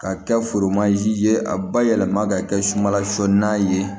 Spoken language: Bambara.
Ka kɛ foromansi ye a bayɛlɛma ka kɛ sumala sɔ n'a ye